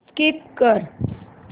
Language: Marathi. स्कीप कर